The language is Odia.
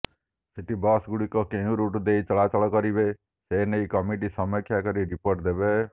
ସିଟି ବସଗୁଡ଼ିକ କେଉଁ ରୁଟ୍ ଦେଇ ଚଳାଚଳ କରିବେ ସେ ନେଇ କମିଟି ସମୀକ୍ଷା କରି ରିପୋର୍ଟ ଦେବ